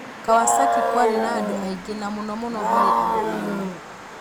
Kawasaki kwarĩ na andũ aingĩ na mũnomũno harĩ andũ agima